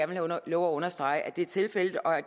vil love at understrege at det er tilfældet og at